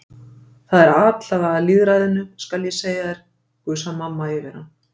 Það er atlaga að lýðræðinu, skal ég segja þér, gusar mamma yfir hann.